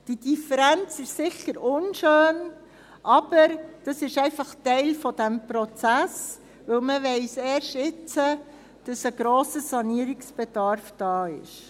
Diese Differenz ist sicher unschön, aber das ist einfach Teil dieses Prozesses, weil man erst jetzt weiss, dass ein grosser Sanierungsbedarf da ist.